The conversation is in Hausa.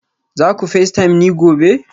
za ku facetime ni gobe